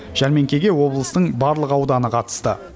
жәрмеңкеге облыстың барлық ауданы қатысты